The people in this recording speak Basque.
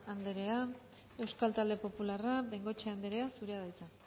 anderea euskal talde popularra bengoechea anderea zurea da hitza